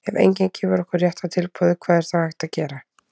ef enginn gefur okkur rétta tilboðið hvað er þá hægt að gera?